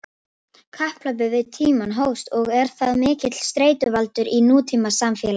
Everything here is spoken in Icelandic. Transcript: Kapphlaupið við tímann hófst og er það mikill streituvaldur í nútímasamfélagi.